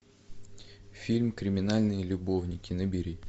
фильм криминальные любовники набери